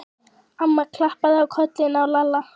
Amma klappaði á kollinn á Lalla.